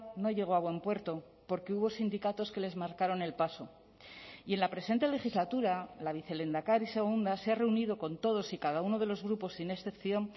no llegó a buen puerto porque hubo sindicatos que les marcaron el paso y en la presente legislatura la vicelehendakari segunda se ha reunido con todos y cada uno de los grupos sin excepción